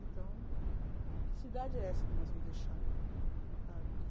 Então, que cidade é essa que nós vamos deixar? Sabe